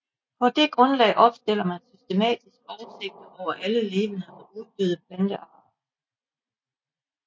På det grundlag opstiller man systematiske oversigter over alle levende og uddøde plantearter